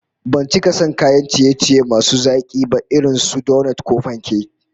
Ban cika son kayan ciye-ciye masu zaki ba irin su donot ko panke